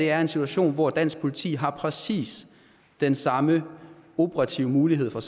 er en situation hvor dansk politi har præcis den samme operative mulighed for